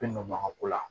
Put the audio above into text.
Bɛ nɔko la